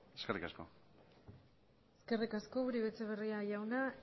eskerrik asko eskerrik asko uribe etxebarria jauna